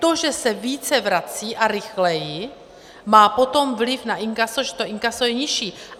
To, že se více vrací a rychleji, má potom vliv na inkaso, že to inkaso je nižší.